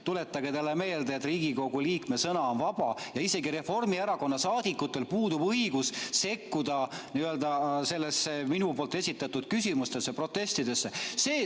Tuletage talle meelde, et Riigikogu liikme sõna on vaba ja isegi Reformierakonna liikmetel puudub õigus sekkuda minu esitatud küsimustesse ja protestidesse.